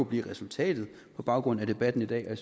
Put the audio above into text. blive resultatet på baggrund af debatten i dag